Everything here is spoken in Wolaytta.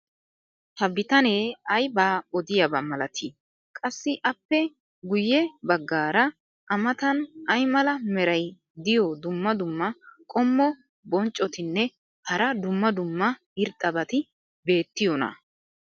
ha bitanee aybaa odiyaaba malatii? qassi appe guye bagaara a matan ay mala meray diyo dumma dumma qommo bonccotinne hara dumma dumma irxxabati beetiyoonaa?